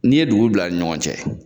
N'i ye dugu bila ni ɲɔgɔn cɛ,